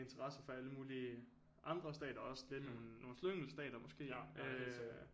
Interesser fra alle mulige andre stater også lidt nogle slyngelstater måske øh